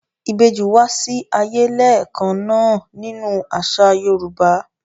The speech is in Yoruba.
Ìbejì wá sí ayé lẹ́ẹ̀kan náà nínú àṣà Yorùbá.